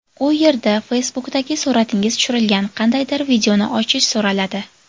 U yerda Facebook’dagi suratingiz tushirilgan qandaydir videoni ochish so‘raladi.